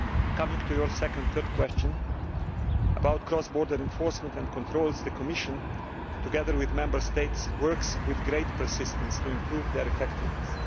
Coming to your second and third questions about cross border enforcement and controls, the Commission, together with the Member States, is working with great persistence to improve their effectiveness.